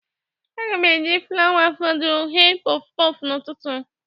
Aga m eji flawa fọdụrụ ghe pọfpọfbn'ụtụtụ.